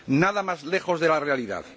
Nada más lejos de la realidad.